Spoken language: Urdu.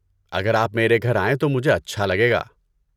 اگر آپ میرے گھر آئیں تو مجھے اچھا لگے گا۔